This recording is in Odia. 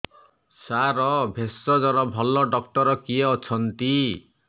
ସାର ଭେଷଜର ଭଲ ଡକ୍ଟର କିଏ ଅଛନ୍ତି